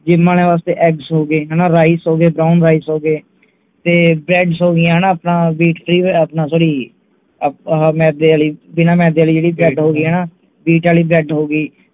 gym ਅਲੀਆਂ ਵਾਸਤੇ eggs ਹੋ ਗਏ ਹਣਾ rice ਹੋ ਗਏ brown rice ਹੋ ਗਏ ਤੇ breads ਹੋ ਗਈਆਂ ਹਣਾ ਆਪਣਾ wheat free ਆਪਣਾ sorry ਮੈਦੇ ਆਲੀ ਬਿਨਾਂ ਮੈਦੇ ਆਲੀ ਜਿਹੜੀ bread ਹੋ ਗਈ ਹਣਾ wheat ਆਲੀ bread ਹੋ ਗਈ